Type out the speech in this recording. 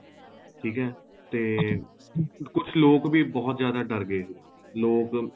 ਠੀਕ ਏ ਤੇ ਕੁੱਝ ਲੋਕ ਵੀ ਬਹੁਤ ਜਿਆਦਾ ਡਰ ਗਏ ਸੀ ਲੋਕ